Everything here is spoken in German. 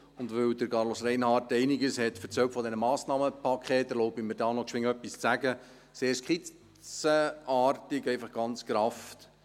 Und weil Carlos Reinhard einiges zu den Massnahmenpaketen gesagt hat, erlaube ich mir, dazu kurz etwas zu sagen, sehr skizzenartig, einfach ganz gerafft.